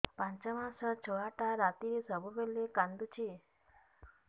ପାଞ୍ଚ ମାସ ଛୁଆଟା ରାତିରେ ସବୁବେଳେ କାନ୍ଦୁଚି